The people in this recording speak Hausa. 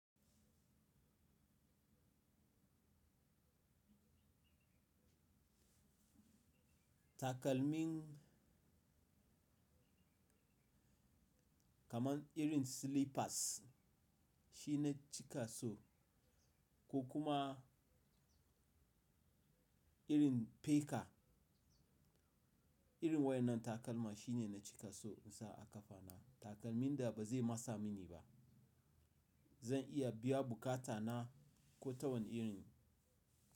Takalmin kamar irin slippers shine na cika so ko kuma irin peka. Irin wayannan takalma shine na cika so in sa a kafa na. Takalmin da ba zai masa mini ba. Zan iya biya bukata na ko ta wani irin.